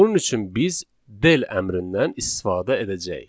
Bunun üçün biz del əmrindən istifadə edəcəyik.